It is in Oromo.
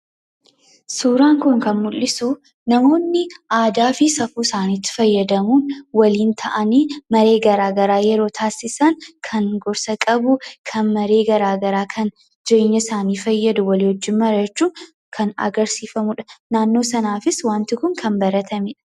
Suuraan kun kan mul'isu namooni aadaa saaniifi safuu isaaniitti fayyadamuun waliin ta'anii maree gara garaa yeroo tasisaan kan gorsaa qabu kan maree gara garaa qabu jireenyaa isaani wajiin mari'achuun kan agarsiifamudha. Naannoo sanaafis kan baratamedha.